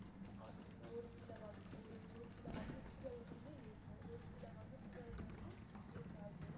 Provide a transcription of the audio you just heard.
அவங்களுக்கு ஒரு சில வகு~ ஒரு ஒரு சில வகுப்புகள் வந்து இருக்கும் ஒரு சில வகுப்புகள் வந்து இருக்காது